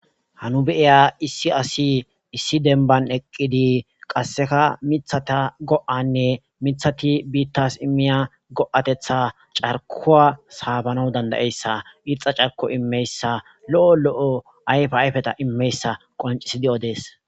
hanu beiya issi asi issi denban eqqidi qasseka mithata go7anne mithati biittas immiya go7atetha carkuwa saabanaw dandayeyssa irxa carko immeyssa lo7o lo7o ayfe ayfeta immeyssa qoncisi di7o dees